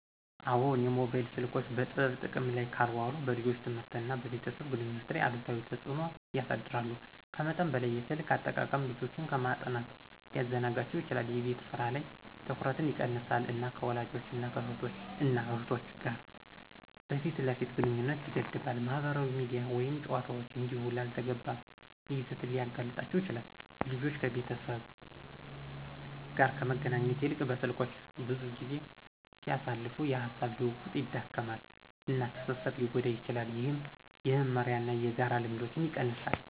አዎን, የሞባይል ስልኮች በጥበብ ጥቅም ላይ ካልዋሉ በልጆች ትምህርት እና በቤተሰብ ግንኙነት ላይ አሉታዊ ተጽእኖ ያሳድራሉ. ከመጠን በላይ የስልክ አጠቃቀም ልጆችን ከማጥናት ሊያዘናጋቸው ይችላል፣ የቤት ስራ ላይ ትኩረትን ይቀንሳል፣ እና ከወላጆች እና እህቶች እና እህቶች ጋር የፊት ለፊት ግንኙነትን ይገድባል። ማህበራዊ ሚዲያ ወይም ጨዋታዎች እንዲሁ ላልተገባ ይዘት ሊያጋልጣቸው ይችላል። ልጆች ከቤተሰብ ጋር ከመገናኘት ይልቅ በስልኮች ብዙ ጊዜ ሲያሳልፉ፣ የሐሳብ ልውውጥ ይዳከማል፣ እና ትስስር ሊጎዳ ይችላል፣ ይህም የመመሪያ እና የጋራ ልምዶችን ይቀንሳል።